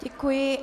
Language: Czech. Děkuji.